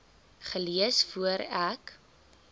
gelees voor ek